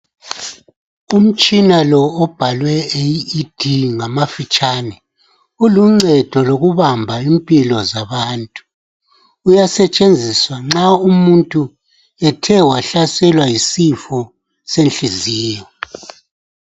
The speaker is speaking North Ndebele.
Umtshina lo obhalwe AED ngamafitshane uluncedo lokubamba impilo zabantu uyasetshenziswa nxa umuntu ethe wahlaselwa yisifo senhliziyo.